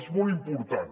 és molt important